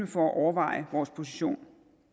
for at overveje vores position